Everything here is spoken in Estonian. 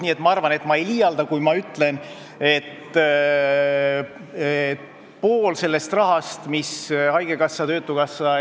Nii et ma arvan, et ma ei liialda, kui ma ütlen, et pool sellest rahast, mis haigekassa, töötukassa ja teised ...